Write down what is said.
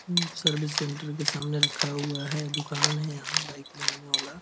यहां service centre के सामने रखा हुआ है दुकान है यहाँ बाइक बनाने वाला।